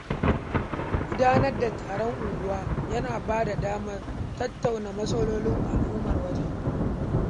Gudanar da taron unguwa yana bada damar tattauna matsalolin al'ummar wajen.